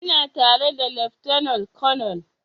Ina tare da lieutenant colonel